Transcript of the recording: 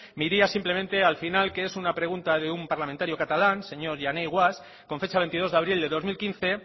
me iría simplemente al final que es una pregunta de un parlamentario catalán señor jané guasch con fecha veintidós de abril de dos mil quince